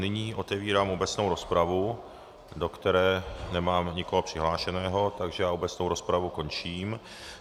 Nyní otevírám obecnou rozpravu, do které nemám nikoho přihlášeného, takže obecnou rozpravu končím.